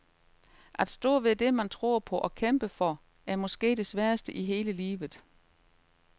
At stå ved det man tror på og kæmper for, er måske det sværeste i hele livet.